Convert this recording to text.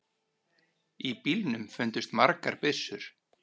Í bílnum fundust margar byssur.